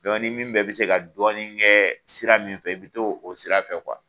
ni min bɛɛ bɛ se ka dɔɔni kɛ sira min fɛ, i bi t'o sira fɛ